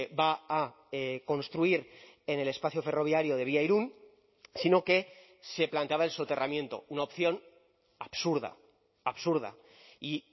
va a construir en el espacio ferroviario de vía irún sino que se planteaba el soterramiento una opción absurda absurda y